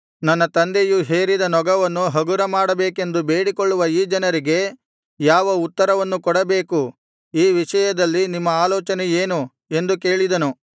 ನನ್ನ ತಂದೆಯು ಹೇರಿದ ನೊಗವನ್ನು ಹಗುರ ಮಾಡಬೇಕೆಂದು ಬೇಡಿಕೊಳ್ಳುವ ಈ ಜನರಿಗೆ ಯಾವ ಉತ್ತರವನ್ನು ಕೊಡಬೇಕು ಈ ವಿಷಯದಲ್ಲಿ ನಿಮ್ಮ ಆಲೋಚನೆ ಏನು ಎಂದು ಕೇಳಿದನು